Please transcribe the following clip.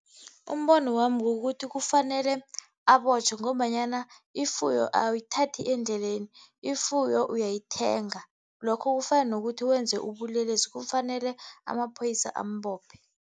Umbono wami kukuthi kufanele abotjhwe ngombanyana ifuyo awuyithathi endleleni. Ifuyo uyayithenga. Lokho kufana nokuthi wenze ubulelesi, kufanele amaphoyisa ambophe.